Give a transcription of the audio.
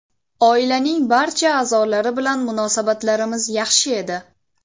Oilaning barcha a’zolari bilan munosabatlarimiz yaxshi edi.